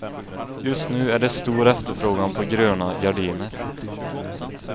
Just nu är det stor efterfrågan på gröna gardiner.